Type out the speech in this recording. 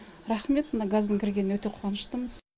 рахмет мына газдың кіргеніне өте қуаныштымыз